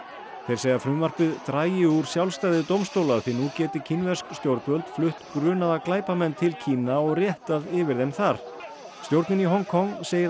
þeir segja að frumvarpið dragi úr sjálfstæði dómstóla því nú geti kínversk stjórnvöld flutt grunaða glæpamenn til Kína og réttað yfir þeim þar stjórnin í Hong Kong segir